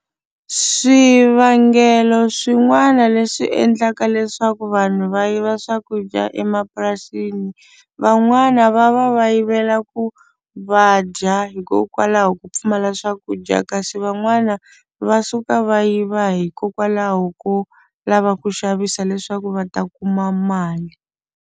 Swivangelo swin'wana leswi endlaka leswaku vanhu va yiva swakudya emapurasini van'wana va va va yivela ku va dya hikokwalaho ko pfumala swakudya kasi van'wana va suka va yiva hikokwalaho ko lava ku xavisa leswaku va ta kuma mali.